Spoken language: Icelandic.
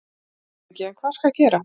LANDSHÖFÐINGI: En hvað skal gera?